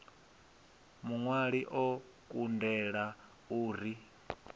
muṅwali o kundela u ri